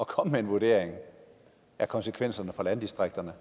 komme med en vurdering af konsekvenserne for landdistrikterne